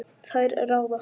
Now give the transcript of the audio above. Þær ráða.